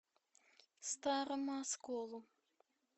старому осколу